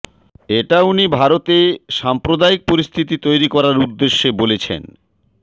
এটা উনি ভারতে সাম্প্রদায়িক পরিস্থিতি তৈরি করার উদেশ্য বলেছেন